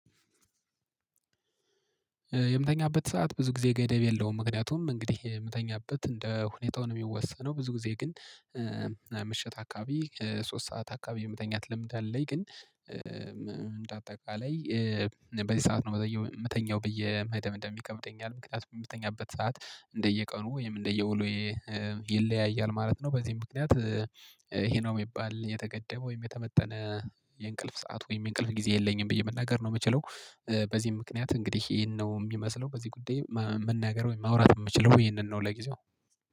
የምተኛበት ሰዓት ብዙ ጊዜ ገደብ የለውም። ምክንያቱም እንግዲህ የምተኛበት እንደ ሁኔታውን የሚወሰነው ብዙ ጊዜ ግን ምሽት አካባቢ ሶስት ሰዓት አካባቢ የመተኛት ለምድ አለኝ። ግን እንደ አጠቃላይ በዚህ ሰዓት ነው የምተኛው ብዬ መደምደም ይከብደኛል ምክንያቱም የምተኛበት ሰዓት እንደየቀኑ ወይም እንደየ ወሎዬ ይለያያል ማለት ነው። በዚህም ምክንያት ይሄ ነው የሚባል የተገደበ ወይም የተመጠነ የእንቅልፍ ሰዓት ወይም የእንቅልፍ ጊዜ የለኝም ብዬ መናገር ነው የምችለው። በዚህም ምክንያት እንግዲህ ይሄን ነው የሚመስለው በዚህ ጉዳይ መናገር ወይ ማውራት የምችለው ይሄንን ነው ለጊዜው